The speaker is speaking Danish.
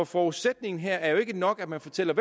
forudsætningen her er er nok at man fortæller